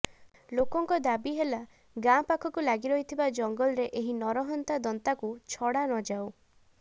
ଲୋକଙ୍କ ଦାବି ହେଲା ଗାଁ ପାଖକୁ ଲାଗି ରହିଥିବା ଜଙ୍ଗଲରେ ଏହି ନରହନ୍ତା ଦନ୍ତାକୁ ଛଡାନ ଯାଉ